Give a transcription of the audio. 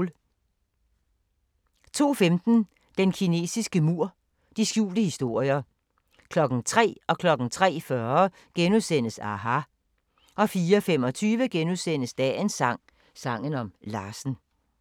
02:15: Den kinesiske mur – de skjulte historier 03:00: aHA! * 03:40: aHA! * 04:25: Dagens sang: Sangen om Larsen *